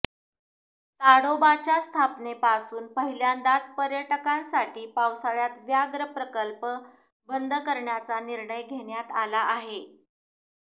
ताडोबाच्या स्थापनेपासून पहिल्यांदाच पर्यटकांसाठी पावसाळ्यात व्याघ्र प्रकल्प बंद करण्याचा निर्णय घेण्यात आला आहे